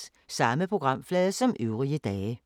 Samme programflade som øvrige dage